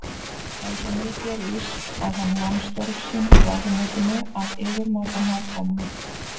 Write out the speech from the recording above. En svo mikið er víst að hann vann störf sín í ráðuneytinu af yfirmáta nákvæmni.